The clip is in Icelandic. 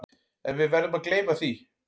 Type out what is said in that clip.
En við verðum að gleyma því.